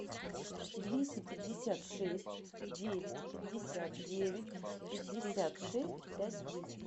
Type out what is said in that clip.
двести пятьдесят шесть девять пятьдесят девять пятьдесят шесть пять двести